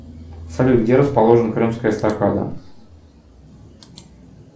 салют где расположена крымская эстакада